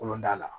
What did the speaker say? Kolonda la